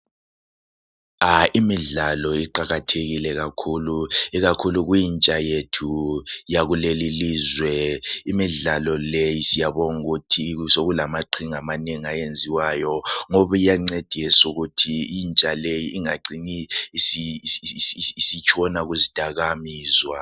Imidlalo iqakathekile kakhulu ikakhulu kuntsha yethu yakuleli ilizwe imidlalo leyi siyabonga ukuthi sokulaqinga amanengi ayenziwayo ngoba iyangcedisa ukuthi intsha leyi ingacini sitshona kuzidakamizwa